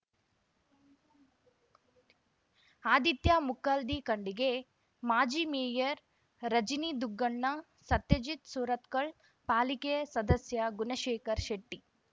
ಆದಿತ್ಯ ಮುಕ್ಕಾಲ್ದಿ ಖಂಡಿಗೆ ಮಾಜಿ ಮೇಯರ್ ರಜನಿದುಗ್ಗಣ್ಣ ಸತ್ಯಜಿತ್ ಸುರತ್ಕಲ್ ಪಾಲಿಕೆ ಸದಸ್ಯ ಗುಣಶೇಖರ್ ಶೆಟ್ಟಿ